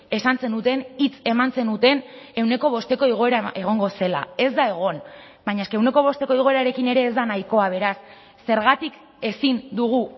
esan zenuten hitz eman zenuten ehuneko bosteko igoera egongo zela ez da egon baina eske ehuneko bosteko igoerarekin ere ez da nahikoa beraz zergatik ezin dugu